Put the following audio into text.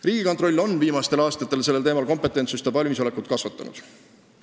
Riigikontroll on viimastel aastatel sellel teemal kompetentsust ja valmisolekut kasvatanud.